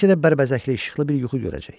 Bəlkə də bərbəzəkli işıqlı bir yuxu görəcək.